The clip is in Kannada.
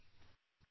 phone call 1